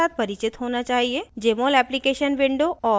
jmol application window और